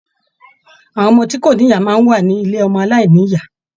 Àwọn ọmọ tí kò ní ìyá máa wá ní ilé ọmọ aláìnìyá.